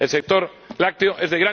El sector lácteo es